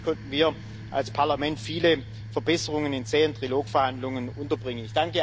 Letztendlich konnten wir als Parlament viele Verbesserungen in zähen Trilog-Verhandlungen unterbringen.